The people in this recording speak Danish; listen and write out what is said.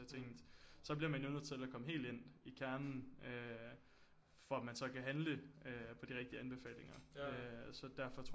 Jeg tænkte så bliver man jo nødt til at komme helt ind i kernen øh for at man så kan handle øh på de rigtige anbefalinger så derfor tror